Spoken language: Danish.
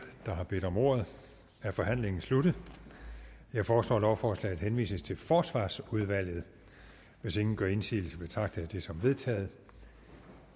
der har bedt om ordet er forhandlingen sluttet jeg foreslår at lovforslaget henvises til forsvarsudvalget hvis ingen gør indsigelse betragter jeg det som vedtaget